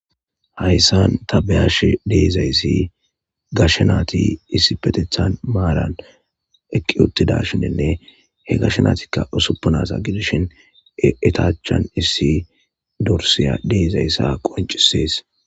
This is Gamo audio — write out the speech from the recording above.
hayssan tabeyash deizayssi gashnaati issi petethan maaran eqqi uttida shinenne he gashnaatikka usuppunasa gidishin etachan issi dorsiya deizayssa qoncisees